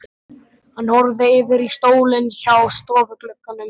Hann horfði yfir í stólinn hjá stofuglugganum.